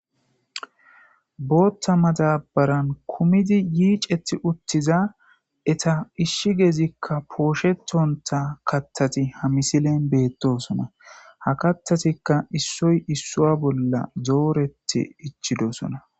Bootha madabaran kumidi yiiceti uttiza eta ishshi geezikka pooshetonta kathati ha misilen beettosona ha kathatikka issoy issua bolla dooretti ichidosona.